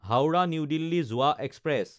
হাওৰা–নিউ দিল্লী যোৱা এক্সপ্ৰেছ